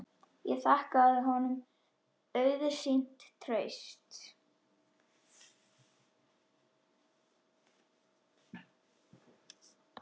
Ég þakkaði honum auðsýnt traust.